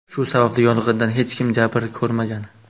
Shu sababli yong‘indan hech kim jabr ko‘rmagan.